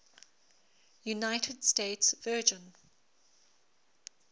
united states virgin